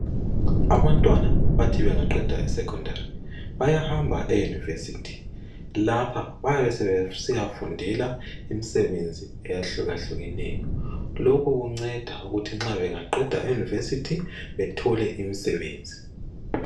Abantwana bathi bangaqeda esecondary bayahamba eyunivesithi, lapha bayabe sebesiyafundela imisebenzi. Lapha bayabe sebesiyafundela imisebenzi ehlukahlukeneyo lokho kunceda ukuthi nxa bangaqeda iyunivesithi bethole umsebenzi.